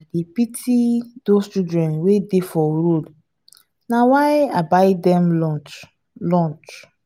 dey pity those children wey dey for road na why i buy dem lunch lunch